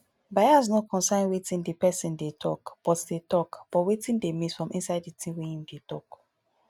bias no concern wetin di person dey talk but dey talk but wetin dey miss from inside di thing wey im dey talk